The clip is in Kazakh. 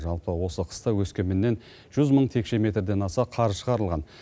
жалпы осы қыста өскеменнен жүз мың текше метрден аса қар шығарылған